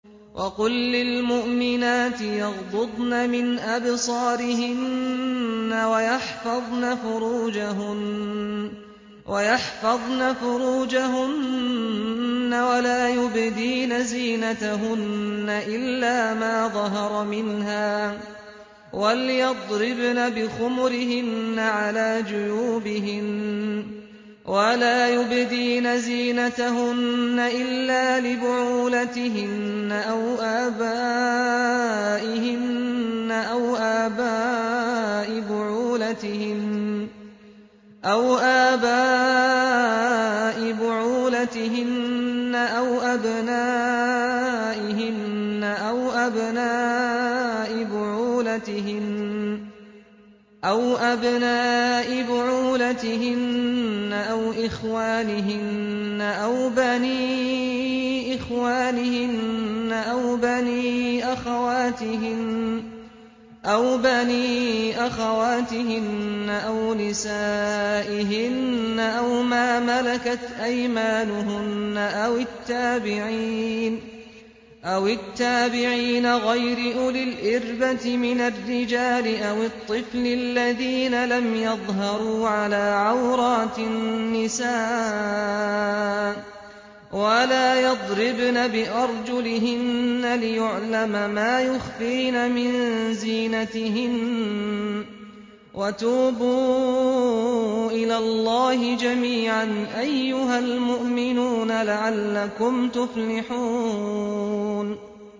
وَقُل لِّلْمُؤْمِنَاتِ يَغْضُضْنَ مِنْ أَبْصَارِهِنَّ وَيَحْفَظْنَ فُرُوجَهُنَّ وَلَا يُبْدِينَ زِينَتَهُنَّ إِلَّا مَا ظَهَرَ مِنْهَا ۖ وَلْيَضْرِبْنَ بِخُمُرِهِنَّ عَلَىٰ جُيُوبِهِنَّ ۖ وَلَا يُبْدِينَ زِينَتَهُنَّ إِلَّا لِبُعُولَتِهِنَّ أَوْ آبَائِهِنَّ أَوْ آبَاءِ بُعُولَتِهِنَّ أَوْ أَبْنَائِهِنَّ أَوْ أَبْنَاءِ بُعُولَتِهِنَّ أَوْ إِخْوَانِهِنَّ أَوْ بَنِي إِخْوَانِهِنَّ أَوْ بَنِي أَخَوَاتِهِنَّ أَوْ نِسَائِهِنَّ أَوْ مَا مَلَكَتْ أَيْمَانُهُنَّ أَوِ التَّابِعِينَ غَيْرِ أُولِي الْإِرْبَةِ مِنَ الرِّجَالِ أَوِ الطِّفْلِ الَّذِينَ لَمْ يَظْهَرُوا عَلَىٰ عَوْرَاتِ النِّسَاءِ ۖ وَلَا يَضْرِبْنَ بِأَرْجُلِهِنَّ لِيُعْلَمَ مَا يُخْفِينَ مِن زِينَتِهِنَّ ۚ وَتُوبُوا إِلَى اللَّهِ جَمِيعًا أَيُّهَ الْمُؤْمِنُونَ لَعَلَّكُمْ تُفْلِحُونَ